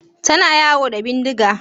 Tana yawo da bindiga?